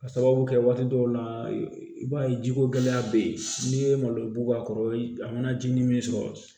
Ka sababu kɛ waati dɔw la i b'a ye jiko gɛlɛya bɛ yen n'i ye malo bug'a kɔrɔ a mana ji ni min sɔrɔ